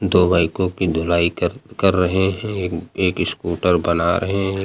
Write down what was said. दो बाइकों की धुलाई कर कर रहे हैं एक एक स्कूटर बना रहे हैं।